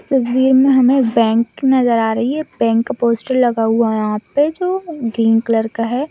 तस्वीर में हमें बैंक नजर आ रही है बैंक पोस्टर लगा हुआ है यहाँ पर जो ग्रीन कलर का है।